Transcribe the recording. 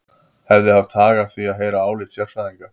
Hefði haft hag að því að heyra álit sérfræðinga.